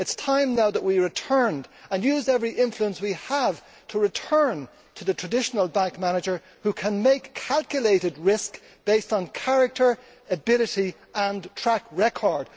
It is time now that we returned, and used every influence we have to return, to the traditional bank manager, who can make calculated risk based on character, ability and track record.